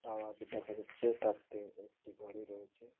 Tower দেখা যাচ্ছে তার থেকে একটি বাড়ি রয়েছে ।